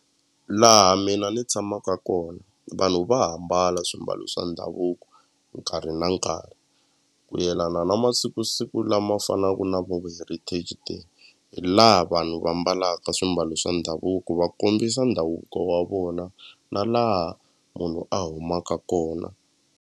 Laha mina ni tshamaka kona vanhu va ha mbala swimbalo swa ndhavuko nkarhi na nkarhi ku yelana na masikusiku lama fanaka na vo heritage day hi laha vanhu va mbalaka swimbalo swa ndhavuko va kombisa ndhavuko wa vona na laha munhu a humaka kona.